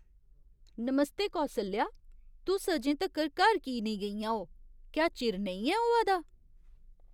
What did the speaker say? नमस्ते कौसल्या, तुस अजें तक्कर घर की नेईं गेइयां ओ? क्या चिर नेईं ऐ होआ दा ?